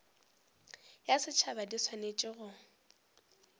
ya setšhaba di swanetše go